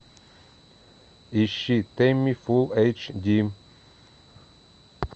ищи тэмми фулл эйч ди